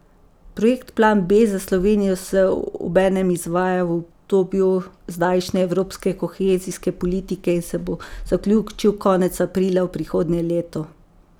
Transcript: Projekt Plan B za Slovenijo se obenem izvaja v obdobju zdajšnje evropske kohezijske politike in se bo zaključil konec aprila prihodnje leto.